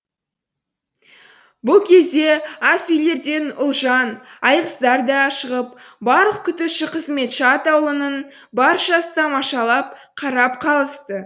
бұл кезде ас үйлерден ұлжан айғыздар да шығып барлық күтуші қызметші атаулының баршасы тамашалап қарап қалысты